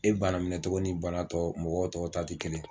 E bana minɛ cogo ni banatɔ mɔgɔ tɔ taa tɛ kelen ye.